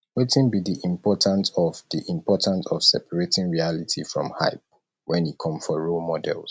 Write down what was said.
wetin be di important of di important of separating reality from hype when e come for role models